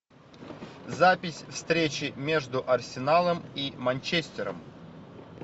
запись встречи между арсеналом и манчестером